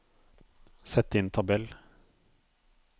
Sett inn tabell